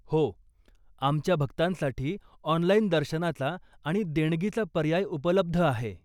हो, आमच्या भक्तांसाठी ऑनलाइन दर्शनाचा आणि देणगीचा पर्याय उपलब्ध आहे.